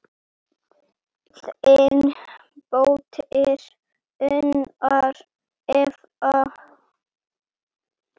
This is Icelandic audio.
Þín dóttir, Unnur Eva.